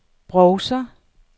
browser